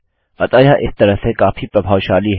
अतः यह इस तरह से काफी प्रभावशाली है